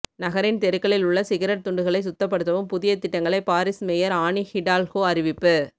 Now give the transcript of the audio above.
நகரின் தெருக்களில் உள்ள சிகரெட் துண்டுகளை சுத்தப்படுத்தவும் புதிய திட்டங்களை பாரிஸ் மேயர் ஆனி ஹிடால்கோ அறிவிப்பு